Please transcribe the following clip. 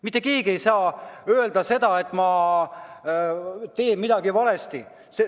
Mitte keegi ei saa öelda, et ma teen midagi valesti.